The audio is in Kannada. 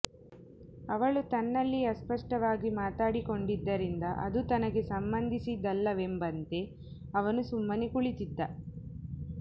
ಅವಳು ತನ್ನಲ್ಲಿಯೇ ಅಸ್ಪಷ್ಟವಾಗಿ ಮಾತನಾಡಿಕೊಂಡಿದ್ದರಿಂದ ಅದು ತನಗೆ ಸಂಬಂಧಿಸಿದ್ದಲ್ಲವೆಂಬಂತೆ ಅವನು ಸುಮ್ಮನೇ ಕುಳಿತಿದ್ದ